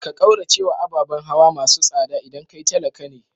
Ka kauracewa ababan hawa masu tsada idan kai talaka ne.